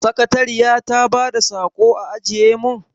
Sakatariya ta bada saƙo a ajiye mun?